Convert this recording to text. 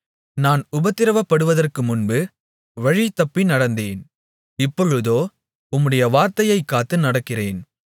நான் உபத்திரவப்படுவதற்கு முன்பு வழிதப்பி நடந்தேன் இப்பொழுதோ உம்முடைய வார்த்தையைக் காத்து நடக்கிறேன்